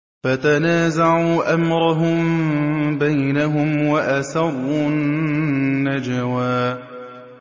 فَتَنَازَعُوا أَمْرَهُم بَيْنَهُمْ وَأَسَرُّوا النَّجْوَىٰ